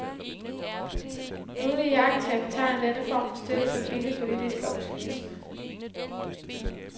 Nogle iagttagere betegner denne form for støtte som billig politisk opportunisme.